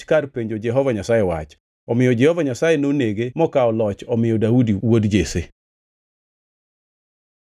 kar penjo Jehova Nyasaye wach. Omiyo Jehova Nyasaye nonege mokawo loch omiyo Daudi wuod Jesse.